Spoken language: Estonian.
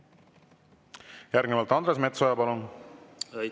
Järgnevalt Andres Metsoja, palun!